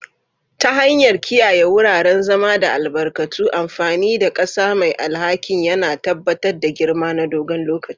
Ta hanyar kiyaye wuraren zama da albarkatu, amfani da ƙasa mai alhakin yana tabbatar da girma na dogon lokaci.